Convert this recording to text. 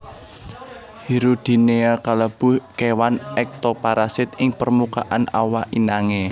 Hirudinea kalebu kéwan ektoparasit ing permukaan awak inangé